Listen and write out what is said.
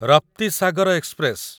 Raptisagar express